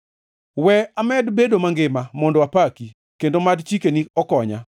We amed bedo mangima mondo apaki, kendo mad chikeni okonya.